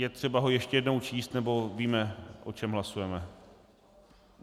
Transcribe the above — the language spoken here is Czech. Je třeba ho ještě jednou číst, nebo víme o čem hlasujeme?